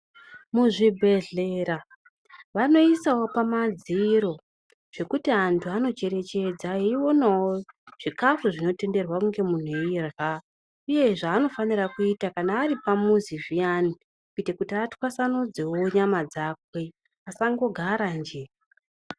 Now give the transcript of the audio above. Muzvibhedhlera vanoisawo pamadziro zvekuti antu anocherechedza aionawo zvikafu zvinotenderwa kuti munhu ange eirya uye zvaanofanira kuita kana ari pamuzi zviyani kuita kuti aswatanudzewo nyama dzake asangogare njee.